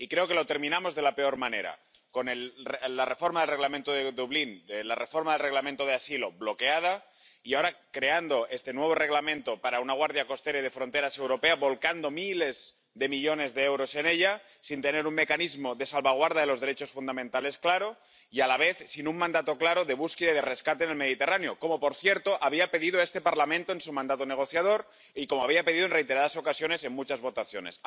Y creo que la terminamos de la peor manera con la reforma del Reglamento de Dublín, la reforma del Reglamento de asilo bloqueada y, ahora, creando este nuevo Reglamento sobre la Guardia Europea de Fronteras y Costas, volcando miles de millones de euros en ella, sin tener un mecanismo de salvaguarda de los derechos fundamentales claro, y, a la vez, sin un mandato claro de búsqueda y de rescate en el Mediterráneo —como, por cierto, había pedido este Parlamento en su mandato negociador y como había pedido, en reiteradas ocasiones, en muchas votaciones—.